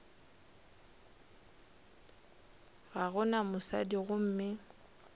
ga go na mosadi gomme